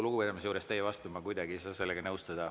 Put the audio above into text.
Kogu lugupidamise juures teie vastu ma kuidagi ei saa sellega nõustuda.